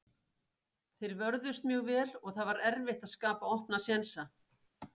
Þeir vörðust mjög vel og það var erfitt að skapa opna sénsa.